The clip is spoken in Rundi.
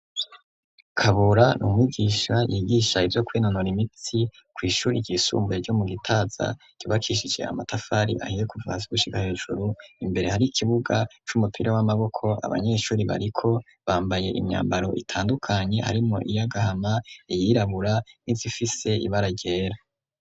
Kabura n'umigisha yigisha ibyo kwenonora imitsi ku ishuri ry'isumbuye ryo mu gitaza ryubakishije amatafari ahiye kuvasi gushiga hejuru imbere hari ikibuga c'umupira w'amaboko abanyeshuri bariko bambaye imyambaro itandukanye harimo iyagahama iyirabura nizifise ibara ryera.